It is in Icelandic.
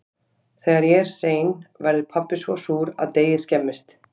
Þegar ég er sein verður pabbi svo súr að deigið skemmist.